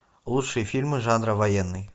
лучшие фильмы жанра военный